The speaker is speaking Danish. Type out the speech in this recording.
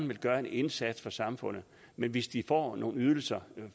vil gøre en indsats for samfundet men hvis de får nogle ydelser